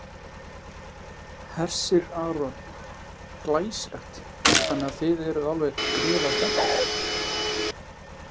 Hersir Aron: Glæsilegt, þannig að þið eruð alveg gríðarlega spenntar?